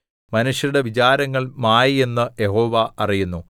മനുഷ്യരുടെ വിചാരങ്ങൾ മായ എന്ന് യഹോവ അറിയുന്നു